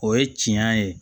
O ye tiɲɛ ye